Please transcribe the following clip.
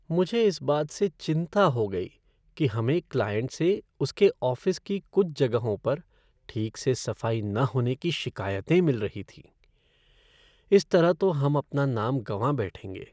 मुझे इस बात से चिंता हो गई कि हमें क्लाइंट से उसके ऑफ़िस की कुछ जगहों पर ठीक से सफाई न होने की शिकायतें मिल रही थीं। इस तरह तो हम अपना नाम गवाँ बैठेंगे।